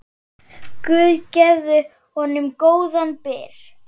Guð gefi honum góðan byr.